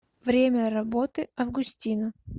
время работы августина